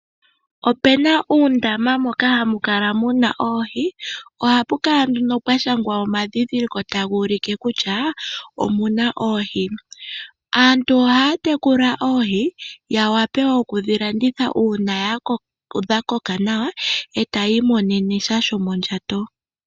Opena uundama moka hamu kala muna oohi, ohapu kala nduno pwashangwa omadhindhiliko tagu ulike kutya omuna oohi. Aantu ohaa tekula oohi yawape oku dhi landitha uuna dhakoka nawa etayi imonene sha shomondjato.